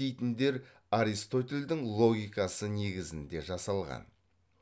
дейтіндер аристотельдің логикасы негізінде жасалған